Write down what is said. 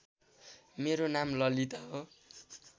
मेरो नाम ललिता हो